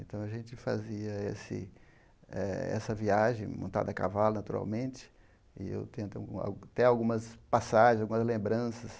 Então, a gente fazia esse eh essa viagem, montada a cavalo, naturalmente, e eu tenho até algumas passagens, algumas lembranças.